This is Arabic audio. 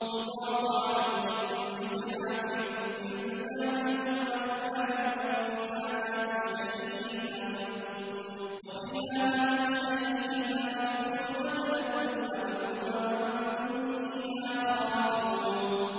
يُطَافُ عَلَيْهِم بِصِحَافٍ مِّن ذَهَبٍ وَأَكْوَابٍ ۖ وَفِيهَا مَا تَشْتَهِيهِ الْأَنفُسُ وَتَلَذُّ الْأَعْيُنُ ۖ وَأَنتُمْ فِيهَا خَالِدُونَ